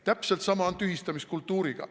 Täpselt sama on tühistamiskultuuriga.